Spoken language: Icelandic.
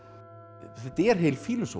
þetta er heil